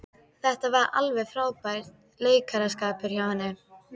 Þetta var alveg frábær leikaraskapur hjá henni.